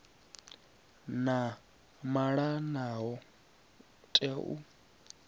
vha malanaho vha tea u